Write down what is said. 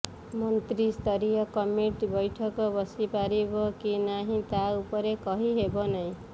ମନ୍ତ୍ରୀସ୍ତରୀୟ କମିଟି ବୈଠକ ବସି ପାରିବ କି ନାହିଁ ତାହା ଉପରେ କହି ହେବ ନାହିଁ